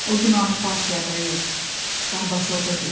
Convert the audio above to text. O günahı partiyada yox, Qorbaçovda görürdü.